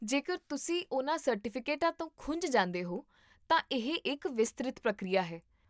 ਜੇਕਰ ਤੁਸੀਂ ਉਹਨਾਂ ਸਰਟੀਫਿਕੇਟਾਂ ਤੋਂ ਖੁੰਝ ਜਾਂਦੇ ਹੋ, ਤਾਂ ਇਹ ਇੱਕ ਵਿਸਤ੍ਰਿਤ ਪ੍ਰਕਿਰਿਆ ਹੈ